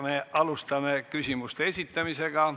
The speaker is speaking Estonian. Alustame küsimuste esitamisega.